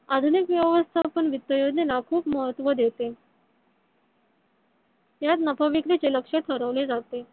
आधुनिक व्यवस्थापन वित्त योजनेला खूप महत्व देते. त्यात नफा विक्रीचे लक्ष ठरविले जाते.